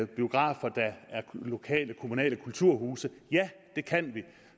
biografer der er lokale kommunale kulturhuse ja det kan vi